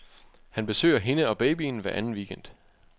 Han besøger hende og babyen hver anden weekend.